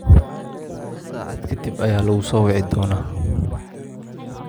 Saacad ka dib ayaa lagu soo wici doonaa.